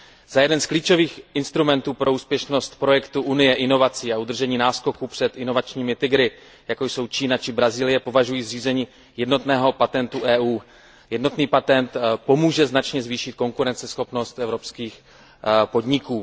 Za jeden z klíčových instrumentů pro úspěšnost projektu Unie inovací a udržení náskoku před inovačními tygry, jako jsou Čína či Brazílie, považuji zřízení jednotného patentu Evropské unie. Jednotný patent pomůže značně zvýšit konkurenceschopnost evropských podniků.